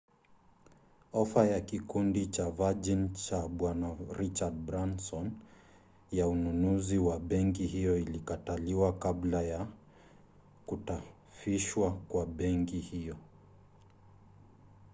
ofa ya kikundi cha virgin cha bwana richard branson ya ununuzi wa benki hiyo ilikataliwa kabla ya kutaifishwa kwa benki hiyo